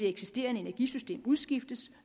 eksisterende energisystem udskiftes